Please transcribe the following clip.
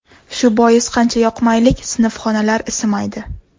Shu bois ham qancha yoqmaylik, sinfxonalar isimaydi”.